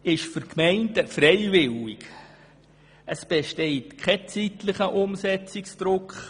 Diese sind für die Gemeinden freiwillig, und es besteht kein zeitlicher Umsetzungsdruck.